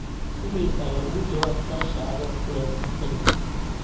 iimaylkayga uga jawaab sasha adoo ku leh mahadsanid